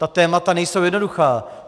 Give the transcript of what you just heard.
Ta témata nejsou jednoduchá.